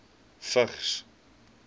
vigs